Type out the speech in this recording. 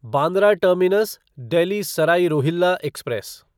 Bandra terminus Delhi Sarai Rohilla express